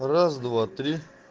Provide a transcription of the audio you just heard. раз два три